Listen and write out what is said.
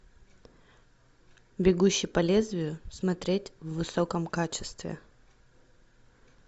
бегущий по лезвию смотреть в высоком качестве